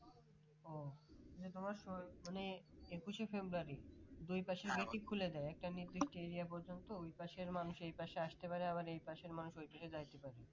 ও নিয়ে তোমার শহীদ মানে একুশে ফেব্রুয়ারি দুই পাশে খুলে দেয় একটি নির্দিষ্ট area পর্যন্ত ওই পাশের মানুষ এই পাশে আসতে পারে আবার এই পাশের মানুষ ওই পাশে যাইতে পারে